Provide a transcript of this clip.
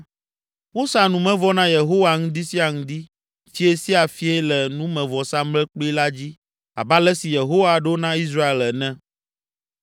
Wosa numevɔ na Yehowa ŋdi sia ŋdi, fiẽ sia fiẽ le numevɔsamlekpui la dzi abe ale si Yehowa ɖo na Israel ene.